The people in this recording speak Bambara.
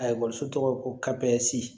A ekɔliso tɔgɔ ko kabinɛsi